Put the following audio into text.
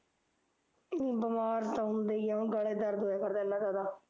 ਬਿਮਾਰ ਤਾਂ ਹੁੰਦੇ ਈ ਆ ਹੁਣ ਗਲਾ ਦਰਦ ਹੋਇਆ ਕਰਦਾ ਏਨਾਂ ਜਿਆਦਾ